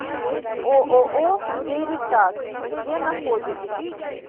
ооо веритас где находится